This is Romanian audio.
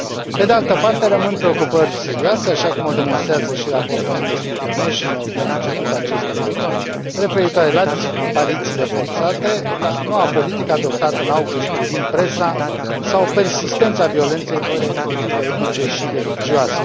Pe de altă parte, rămân preocupări serioase, așa cum o demonstrează și raportul Amnesty International de la începutul acestei luni, referitoare la disparițiile forțate, la noua politică adoptată în august privind presa sau la persistența violenței pe motive etnice și religioase.